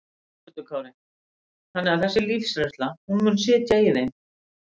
Höskuldur Kári: Þannig að þessi lífsreynsla, hún mun sitja í þeim?